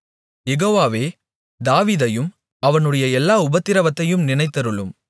யெகோவாவே தாவீதையும் அவனுடைய எல்லா உபத்திரவத்தையும் நினைத்தருளும்